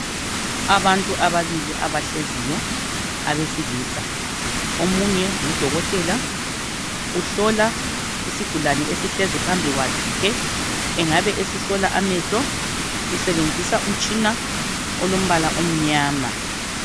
Abantu ababili abahleziyo abesilisa. Omunye ngudokotela uhlola isigulane esihlezi phambi kwakhe. Engabe esihlola amehlo, usebenzisa umtshina olombala omnyama.